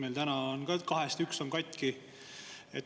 Meil täna on kahest üks katki.